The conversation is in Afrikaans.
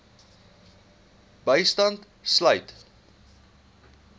bystand sluit